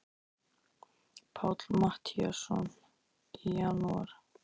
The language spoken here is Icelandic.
Páll Matthíasson: Í janúar?